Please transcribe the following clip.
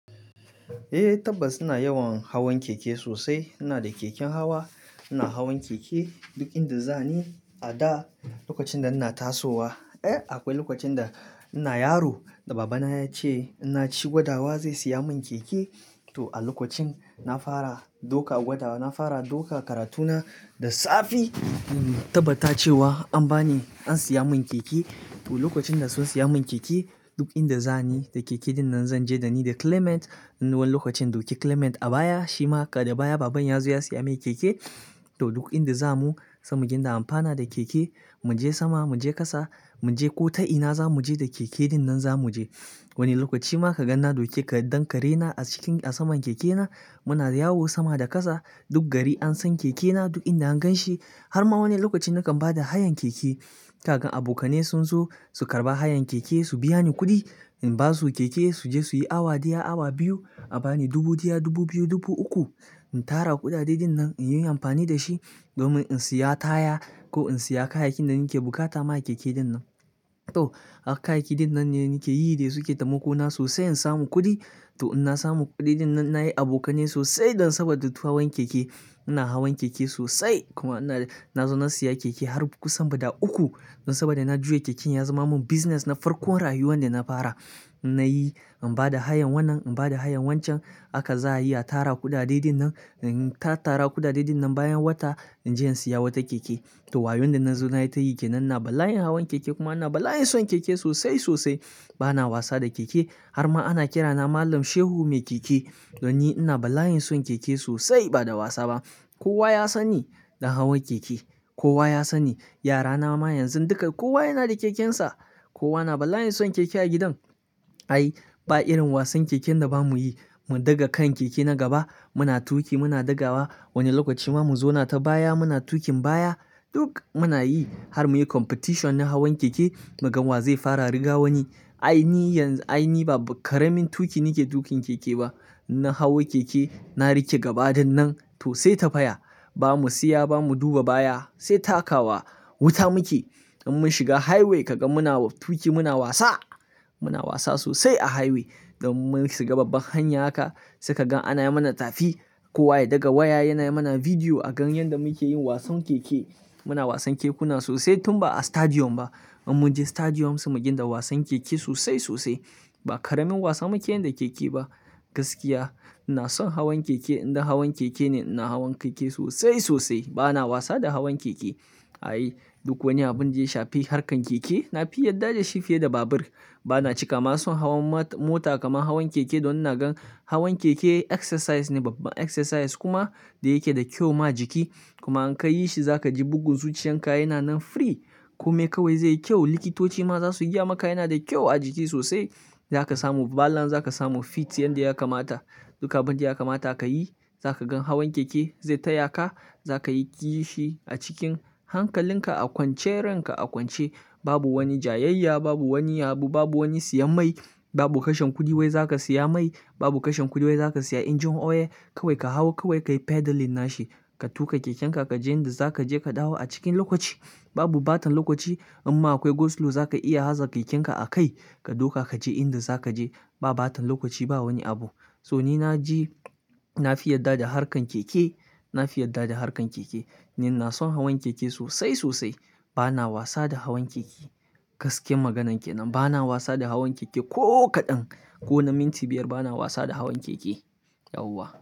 Eh, tabbas ina yawan hawan keke sosai. Inada keken hawa ina hawan keke duk inda zani a da lokacin da ina tasowa. Eh, akwai lokacin da ina yaro da baba na ya ce in na ci gwadawa zai siya mun keke. To a lokacin na fara ɗauka gwadawa, na fara ɗauka karatuna da safe, tabbatace wa an ba ni, an siya mun keke. To lokacin da sun siya mun keke duk inda za ni da keke ɗinnan zan je da ni da Clement. Ni wani lokacin in ɗauki Clement a baya shi ma haka da baya baban ya zo ya siya mai keke. To duk inda za mu, za mu dinga an fana da keke. Muje sama muje ƙasa muje ko ta ina zamu je da keke ɗinnan zamu je. Wani lokaci ma ka gan na ɗauki ɗan kare na a cikin a saman keke na muna yawo sama da kasa. Duk gari an san keke na duk inda an gan shi. Har ma wani lokacin nakan bada hayan keke. Kagan abokanai sun zo su karɓa hayan keke su biya ni kuɗi. In basu keke su je suyi awa ɗaya, awa biyu a bani dubu ɗaya, dubu biyu, dubu uku. In tara kuɗaɗe ɗinnan inyi amfani da shi domin in siya taya ko in siya kayakin da nake buƙata ma keke ɗinnan. To, haka kayaki ɗinnan ne nake yi dai suke tai mako na sosai in samu kuɗi. To in na samu kuɗi ɗinnan nayi abokanai sosai dan saboda duk hawan keke. Ina hawan keke sosai kuma ina-- na zo na siya keke har kusan guda uku. Saboda na juya keken ya zama mun business na farkon rayuwa da na fara. Na yi, in bada hayan wannan, in bada hayan wancan haka za a yi a tara kuɗaɗe ɗinnan. In tat tara kuɗaɗe ɗinnan bayan wata in je in siya wata keke. To wayon da na zo nayi tayi ke nan ina ba la in hawan keke kuma ina ba la in son keke sosai, sosai. Bana wasa da keke har ma ana kira na Malam Shehu Mai Keke. Don ni ina ba la, in son keke sosai bada wasa ba. Kowa ya san ni da hawan keke. Kowa ya san ni. Yara na ma yanzun duka kowa yana da kekensa. Kowa na ba layin son keke a gidan. Ai, ba irin wasan keken da ba mu yi. Mu ɗaga kan keke na gaba muna tuƙi muna ɗagawa. Wani lokaci ma mu zau na ta baya muna tuƙin baya. Duk muna yi har muyi competition na hawan keke. Mu gan wa zai fara riga wani. Ai ni yanzu, ai ni ba karamin tuƙi nake tuƙin keke ba. Na hawo keke, na riƙe gaba dinnan to sai ta faya. Ba mu siya ba mu duba baya sai taka wa wuta muke. In mun shiga highway ka ga muna tuƙi muna wasa. Muna wasa sosai a highway. Domin mun shiga babbar hanya haka saika gan ana yi mana tafi. Kowa ya ɗaga waya yana yi mana bidiyo a gan yanda muke yin wasan keke. Muna wasan kekuna sosai tun ba a stadium ba. In mun je stadium sai mu dinga wasan keke sosai, sosai. Ba karamin wasan muke yin da keke ba. Gaskiya ina son hawan keke. Indai hawan keke ne ina hawan keke sosai, sosai. Bana wasa da hawan keke. Ai, duk wani abin da ya shafi harkar keke na fi yarda da shi fiye da babur. Bana cika ma son hawan ma-mota kamar hawan keke don ina gan hawan keke exercise ne, babbab exercise kuma da yake da kyau ma jiki. Kuma in kayi shi za kaji bugun zuciyan ka yana nan free komai kawai zai yi kyau. Likitoci ma za su gaya maka yana da kyau a jiki sosai. Za ka samu balance, za ka samu fit yanda ya kamata. Duk abin da ya kamata ka yi za ka gan hawan keke zai taya ka. Za ka yi ƙishi a cikin hankalin ka a kwance, ranka a kwance. Babu wani jayayya, babu wani abu, babu wani siyan mai, babu kashin kuɗi wai za ka siya mai, babu kashin kuɗi wai za ka siya injin oil. Kawai ka hau kawai ka yi pedaling nashi. Ka tuƙa keken ka, ka je inda za ka je ka dawo a cikin lokaci. Babu bata lokaci in ma akwai go slow za ka iya aza keken ka a kai. Ka ɗauka ka je inda za ka je. Ba baton lokaci ba wani abu. To ni na ji na fi yarda da harkar keke. Na fi yarda da harkar keke. Ni na son hawan keke sosai, sosai. Bana wasa da hawan keke. Gaskiyar maganar ke nan. Bana wasa da hawan keke ko kaɗan. Ko na minti biyar bana wasa da hawan keke. Yauwa.